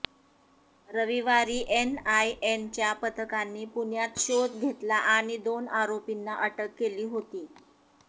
रविवारी एनआयएच्या पथकांनी पुण्यात शोध घेतला आणि दोन आरोपींना अटक केली होती